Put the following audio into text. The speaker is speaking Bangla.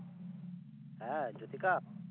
হ্যাঁ, যুথিকা?